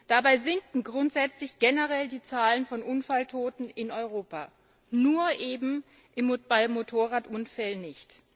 Dabei sinken grundsätzlich generell die Zahlen von Unfalltoten in Europa, nur eben bei Motorradunfällen nicht.